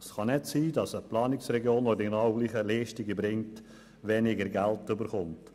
Es kann nicht sein, dass eine Planungsregion, die die gleichen Leistungen erbringt, weniger Geld erhält.